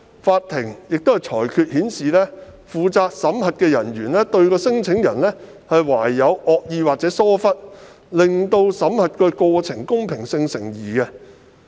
法庭的裁決亦顯示，負責審核的人員對聲請人懷有惡意或疏忽，令審核過程的公平性成疑。